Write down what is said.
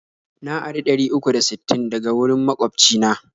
Na ari ɗari uku da sittin daga wurin magwabci na.